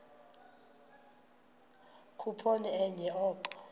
khuphoni enye oko